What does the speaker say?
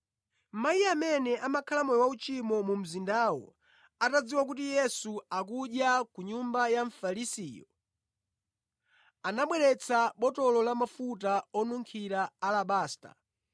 Mayi amene amakhala moyo wauchimo mu mzindawo atadziwa kuti Yesu akudya ku nyumba ya Mfarisiyo, anabweretsa botolo la mafuta onunkhira a alabasta.